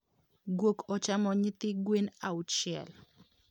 Guok ochamo nyithi gwen auchiel.